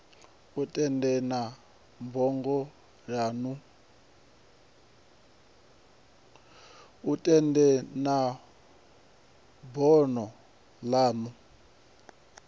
u tendelana na bono lanu